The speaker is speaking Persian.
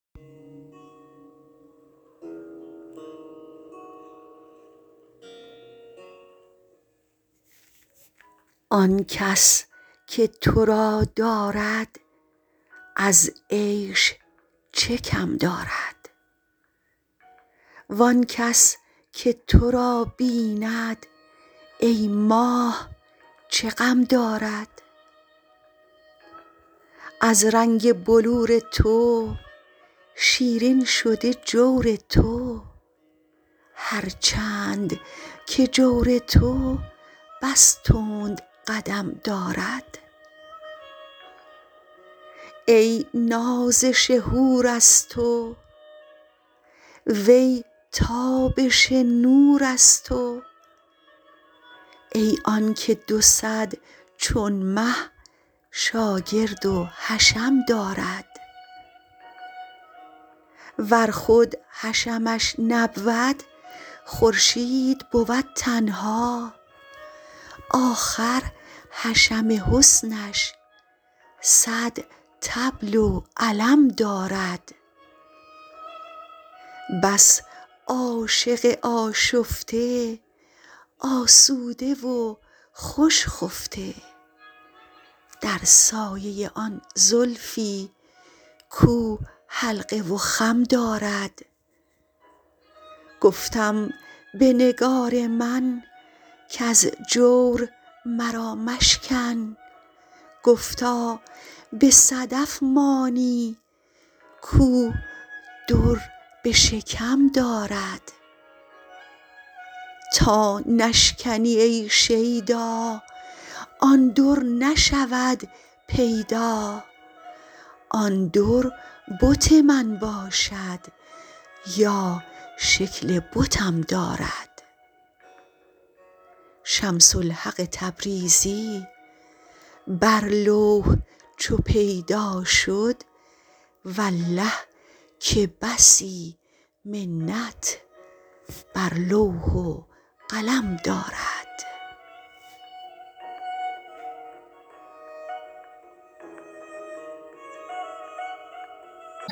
آن کس که تو را دارد از عیش چه کم دارد وان کس که تو را بیند ای ماه چه غم دارد از رنگ بلور تو شیرین شده جور تو هر چند که جور تو بس تند قدم دارد ای نازش حور از تو وی تابش نور از تو ای آنک دو صد چون مه شاگرد و حشم دارد ور خود حشمش نبود خورشید بود تنها آخر حشم حسنش صد طبل و علم دارد بس عاشق آشفته آسوده و خوش خفته در سایه آن زلفی کو حلقه و خم دارد گفتم به نگار من کز جور مرا مشکن گفتا به صدف مانی کو در به شکم دارد تا نشکنی ای شیدا آن در نشود پیدا آن در بت من باشد یا شکل بتم دارد شمس الحق تبریزی بر لوح چو پیدا شد والله که بسی منت بر لوح و قلم دارد